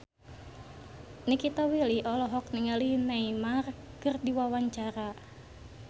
Nikita Willy olohok ningali Neymar keur diwawancara